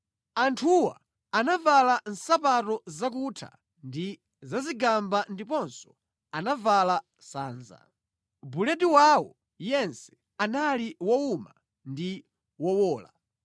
Anthuwa anavala nsapato zakutha ndi zazigamba ndiponso anavala sanza. Buledi wawo yense anali wowuma ndi wowola.